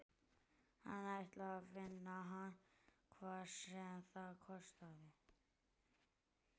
Hann ætlaði að finna hann hvað sem það kostaði.